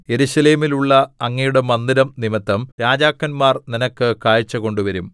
യെരൂശലേമിലുള്ള അങ്ങയുടെ മന്ദിരം നിമിത്തം രാജാക്കന്മാർ നിനക്ക് കാഴ്ച കൊണ്ടുവരും